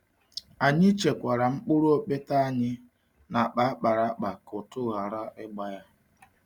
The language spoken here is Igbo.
Anyị chekwara mkpụrụ okpete anyị n'akpa akpara akpa ka ụtụ ghara ịgba ya.